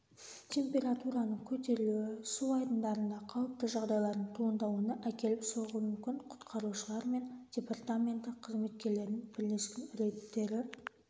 температураның көтерілуі су айдындарында қауіпті жағдайлардың туындауына әкеліп соғуы мүмкін құтқарушылар мен департаменті қызметкерлерінің бірлескен рейдтері